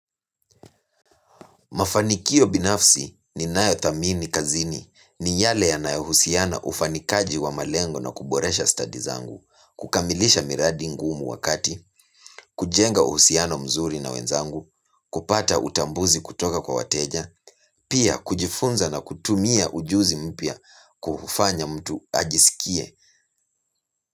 Mafanikio binafsi ninayothamini kazini ni yale yanayohusiana ufanikaji wa malengo na kuboresha stadi zangu, kukamilisha miradi ngumu wakati, kujenga uhusiano mzuri na wenzangu, kupata utambuzi kutoka kwa wateja, pia kujifunza na kutumia ujuzi mpya kufanya mtu ajisikie.